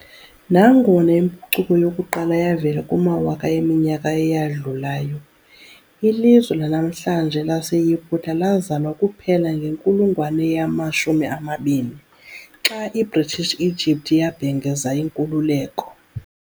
Nangona impucuko yokuqala yavela kumawaka eminyaka eyadlulayo, ilizwe lanamhlanje laseYiputa lazalwa kuphela ngenkulungwane yama-20, xa iBritish Egypt yabhengeza inkululeko.